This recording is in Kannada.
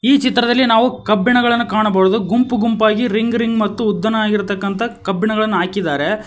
ಈ ಚಿತ್ರದಲ್ಲಿ ನಾವು ಕಬ್ಬಿಣಗಳನ್ನು ಕಾಣಬಹುದು ಗುಂಪು ಗುಂಪಾಗಿ ರಿಂಗ್ ರಿಂಗ್ ಮತ್ತು ಉದ್ದನಾಗಿರತಕ್ಕಂತಹ ಕಬ್ಬಿಣಗಳನ್ನು ಹಾಕಿದ್ದಾರೆ.